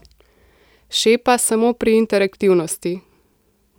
Šepa samo pri interaktivnosti.